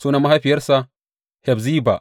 Sunan mahaifiyarsa Hefziba.